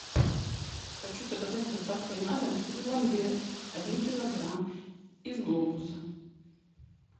хочу заказать с доставкой на дом сыр ламбер один килограмм из глобуса